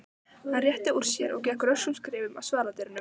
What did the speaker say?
Hann rétti úr sér og gekk röskum skrefum að svaladyrunum.